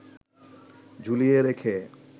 ঝুলিয়ে রেখে